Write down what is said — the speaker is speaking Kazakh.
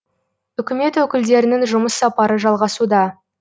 үкімет өкілдерінің жұмыс сапары жалғасуда